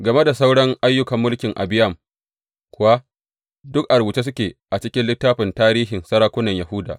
Game da sauran ayyukan mulkin Abiyam kuwa, duk a rubuce suke a cikin littafin tarihin sarakunan Yahuda.